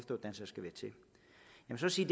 så sige